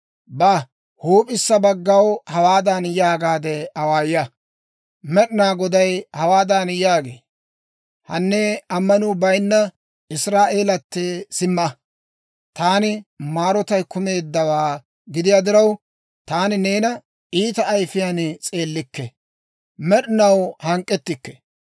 Ba; huup'issa baggaw hawaadan yaagaade awaaya; Med'inaa Goday hawaadan yaagee; ‹Hanne, ammanuu bayinna Israa'eelatee, simma! Taani maarotay kumeeddawaa gidiyaa diraw, taani neena iita ayifiyaan s'eellikke. Med'inaw hank'k'ettikke.